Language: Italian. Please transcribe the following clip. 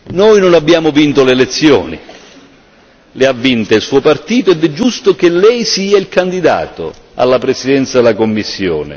Noi non abbiamo vinto le elezioni, le ha vinte il Suo partito ed è giusto che Lei sia il candidato alla presidenza della Commissione.